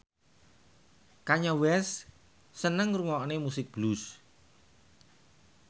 Kanye West seneng ngrungokne musik blues